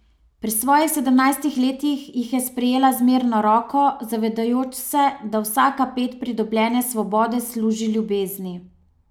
Pri svojih sedemnajstih letih jih je sprejela z mirno roko, zavedajoč se, da vsaka ped pridobljene svobode služi ljubezni.